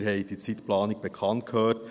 Wir haben die Zeitplanung gehört: